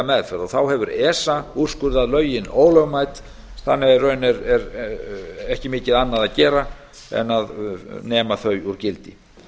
meðferð þá hefur esa úrskurðað lögin ólögmæt þannig að í raun er ekki mikið annað að gera en að nema þau úr gildi